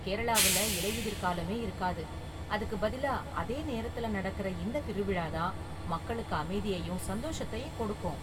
கேரளாவுல இலையுதிர்காலமே இருக்காது, அதுக்கு பதிலா அதே நேரத்துல நடக்குற இந்த திருவிழா தான் மக்களுக்கு அமைதியையும் சந்தோஷத்தையும் கொடுக்கும்.